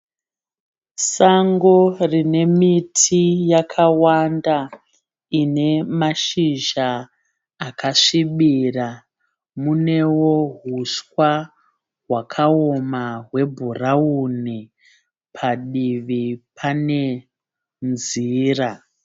Sango rine miti yakawanda ine mashizha akasvibira, munewo huswa hwakaoma hwebhurawuni padivi pane nzira.